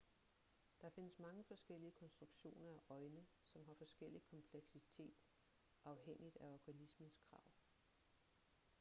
der findes mange forskellige konstruktioner af øjne som har forskellig kompleksitet afhængigt af organismens krav